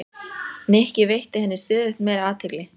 Nikki, veitti henni stöðugt meiri athygli.